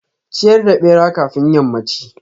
ciyar da bera kafin yammanchi.